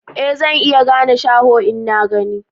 Ee zan iya gane shaho in na gani